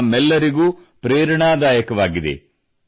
ಇದು ನಮ್ಮೆಲ್ಲರಿಗೂ ಪ್ರೇರಣಾದಾಯಕವಾಗಿದೆ